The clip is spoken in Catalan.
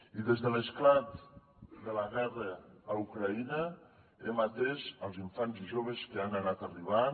i des de l’esclat de la guerra a ucraïna hem atès els infants i joves que han anat arribant